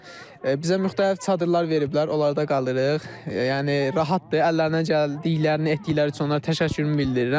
Bizə müxtəlif çadırlar veriblər, orada qalırıq, yəni rahatdır, əllərindən gəldiklərini etdikləri üçün onlara təşəkkürümü bildirirəm.